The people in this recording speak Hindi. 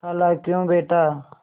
खालाक्यों बेटा